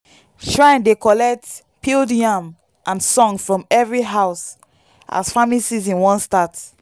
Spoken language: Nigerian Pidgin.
shrine dey collect peeled yam and song from every house as farming season wan start.